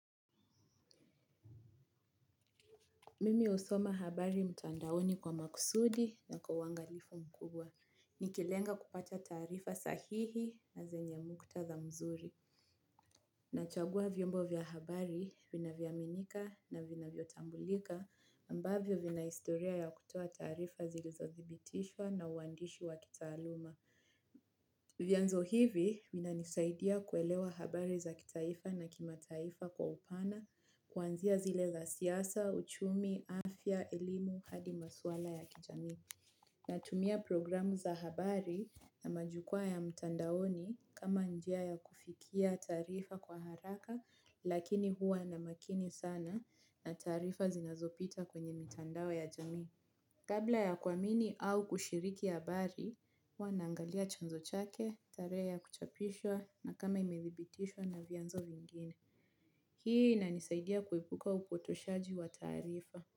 Mimi husoma habari mtandaoni kwa makusudi na kwa uangalifu mkubwa. Nikilenga kupata taarifa sahihi na zenye muktadha mzuri. Nachagua vyombo vya habari vinavyoaminika, na vinavyotambulika ambavyo vina historia ya kutoa taarifa zilizothibitishwa na uandishi wa kitaaluma. Vyanzo hivi vinanisaidia kuelewa habari za kitaifa na kimataifa kwa upana kuanzia zile za siasa, uchumi, afya, elimu, hadi maswala ya kijamii. Natumia programu za habari na majukwaa ya mtandaoni kama njia ya kufikia taarifa kwa haraka lakini hua na makini sana na taarifa zinazopita kwenye mtandao ya jamii. Kabla ya kuamini au kushiriki habari, hua naangalia chanzo chake, tarehe ya kuchapishwa, na kama imethibitishwa na vyanzo vingine. Hii inanisaidia kuepuka upotoshaji wa taarifa.